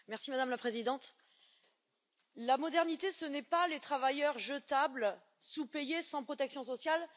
Madame la Présidente, la modernité, ce n'est pas les travailleurs jetables, sous payés, sans protection sociale.